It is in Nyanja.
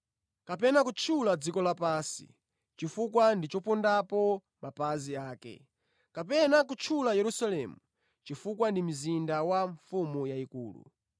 Kapena kutchula dziko lapansi, chifukwa ndi chopondapo mapazi ake; kapena kutchula Yerusalemu, chifukwa ndi mzinda wa mfumu yayikulu.